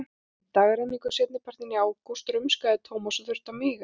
Í dagrenningu seinnipartinn í ágúst rumskaði Thomas og þurfti að míga.